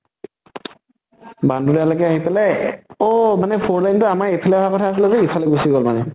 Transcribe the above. বান্দুলা লৈকে আহি পালে, অহ four lane টো আমাৰ এইফালে আহাৰ কথা আছিলে যে ইফালে গুছি গল মানে।